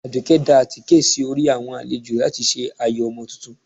Adùké da àtíké sí orí awọn alèjọ latí se ayó Omo túntún